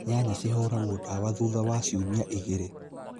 Nyanya cihũragwo dawa thutha wa ciumia igĩrĩ